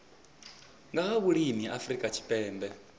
nga ha vhulimi afrika tshipembe